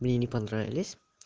мне не понравились